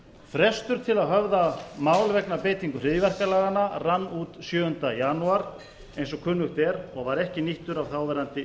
frestur til að höfða mál vegna beitingar hryðjuverkalaganna rann út sjöunda janúar eins og kunnugt er og var ekki nýttur af þáverandi